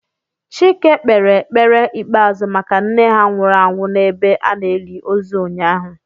Chike kpere ekpere ikpeazu maka nne ha nwuru anwu n'ebe a na-eli ozu ụnyaahụ